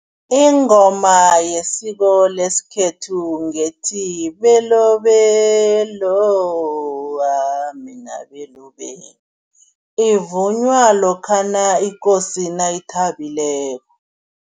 Ingoma yesiko lesikhethu ngethi, belobelo ah mina belobelo, ivunywa lokhana ikosi nayithabileko.